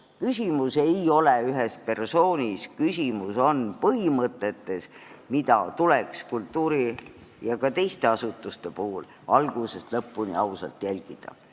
Küsimus ei ole ühes persoonis, küsimus on põhimõtetes, mida tuleks kultuuri- ja ka teiste asutuste puhul algusest lõpuni ausalt järgida.